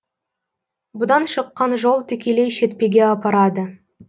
бұдан шыққан жол тікелей шетпеге апарады